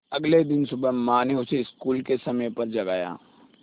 अगले दिन सुबह माँ ने उसे स्कूल के समय पर जगाया